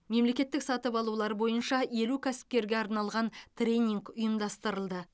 мемлекеттік сатып алулар бойынша елу кәсіпкерге арналған тренинг ұйымдастырылды